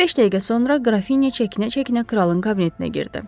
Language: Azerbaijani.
Beş dəqiqə sonra Qrafinya çəkinə-çəkinə kralın kabinetinə girdi.